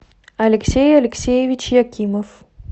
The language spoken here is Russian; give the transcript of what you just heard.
алексей алексеевич якимов